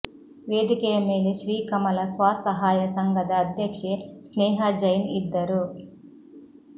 ವೇದಿಕೆಯ ಮೇಲೆ ಶ್ರೀ ಕಮಲ ಸ್ವ ಸಹಾಯ ಸಂಘದ ಅಧ್ಯಕ್ಷೆ ಸ್ನೇಹಾ ಜೈನ್ ಇದ್ದರು